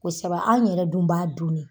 Kosɔbɛ anw yɛrɛ dun b'a dun dɛ.